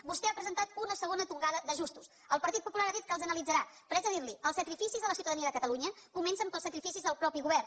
vostè ha presentat una segona tongada d’ajustos el partit popular ha dit que els analitzarà però haig de dir li ho els sacrificis de la ciutadania de catalunya comencen pels sacrificis del mateix govern